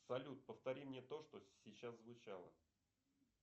салют повтори мне то что сейчас звучало